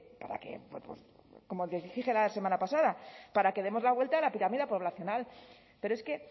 para que como dije la semana pasada para que demos la vuelta a la pirámide poblacional pero es que